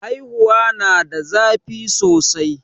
haihuwa na da zafi sosai